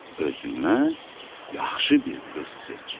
Özünə yaxşı bir qız seç.